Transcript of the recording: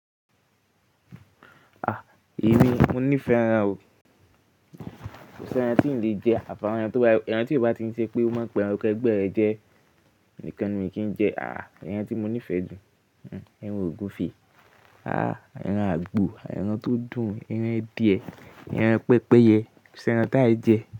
Ah! Èmi, mo nífẹ̀ẹ́ ẹran o. Kò si ẹran tí mi ò lè jẹ, àfi ẹran tí ò bá tí i ṣe pé ó máa pa ẹran kẹ́gbèẹ́rẹ́ jẹ́ nìkan ni kì í jẹ. Ah! Ẹran tí mo nífẹ̀ẹ́ jù, ẹran ògúfe. Ah! Ẹran àgbo, ẹran tó dùn, ẹran adìyẹ, ẹran pẹ́pẹ́yẹ, kò sẹ́ ẹran táì jẹ.